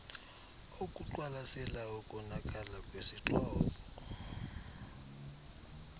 okuqwalasela ukonakala kwesixhobo